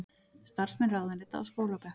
Starfsmenn ráðuneyta á skólabekk